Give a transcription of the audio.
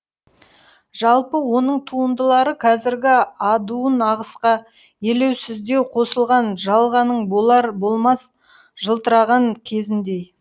жалпы оның туындылары қазіргі адуын ағысқа елеусіздеу қосылған жалғаның болар болмас жылтыраған кезіндей